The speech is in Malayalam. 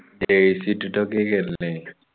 jersey ഇട്ടിട്ടയൊക്കെയല്ലേ